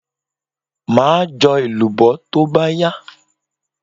Maa jo elubo to ba ya